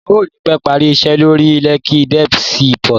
Wọ́n ò ní pẹ́ parí iṣẹ́ lórí Lekki Deep Sea port